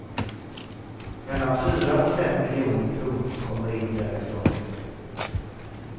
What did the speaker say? Mellan fyra och fem miljoner kronor kommer in därifrån i år.